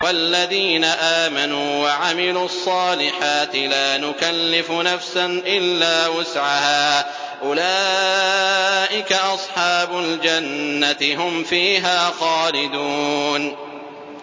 وَالَّذِينَ آمَنُوا وَعَمِلُوا الصَّالِحَاتِ لَا نُكَلِّفُ نَفْسًا إِلَّا وُسْعَهَا أُولَٰئِكَ أَصْحَابُ الْجَنَّةِ ۖ هُمْ فِيهَا خَالِدُونَ